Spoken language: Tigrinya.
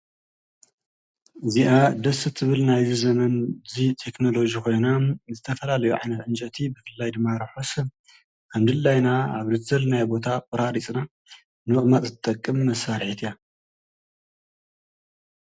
እዚአ ደስ ትብል ናይዚ ዘመን ዚ ቴክኖሎጂ ኮይና ዝተፈላለዩ ዓይነት ፅንጨይቲ ብፍላይ ድማ ሩሑስን ከም ድላይና አብ ዝደለንዮ ቦታ ቆራሪፅና ንምቅማጥ ዝጠቅም መሳርሒት እያ።